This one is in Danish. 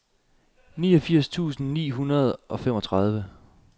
niogfirs tusind ni hundrede og femogtredive